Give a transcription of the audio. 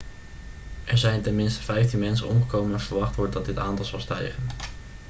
er zijn ten minste 15 mensen omgekomen en verwacht wordt dat dit aantal zal stijgen